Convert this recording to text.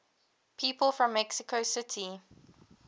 people from mexico city